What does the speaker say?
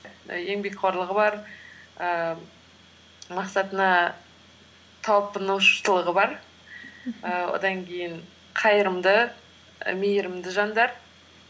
і еңбекқорлығы бар ііі мақсатына талпынушылығы бар ііі одан кейін қайырымды і мейірімді жандар